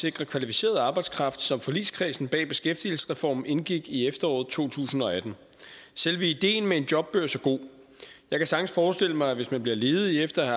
sikre kvalificeret arbejdskraft som forligskredsen bag beskæftigelsesreformen indgik i efteråret to tusind og atten selve ideen med en jobbørs er god jeg kan sagtens forestille mig at man hvis man bliver ledig efter i